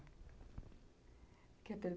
Quer pergun?